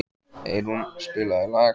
Eyrún, spilaðu lag.